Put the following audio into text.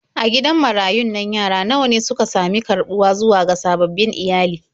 A gidan marayun nan yara nawa ne suka sami karɓuwa zuwa ga sababbin iyali.